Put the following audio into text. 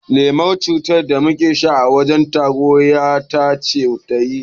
Lemon cittar da muka sha a wajen taro ƴata ce ta yi